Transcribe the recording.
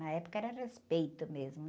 Na época era respeito mesmo.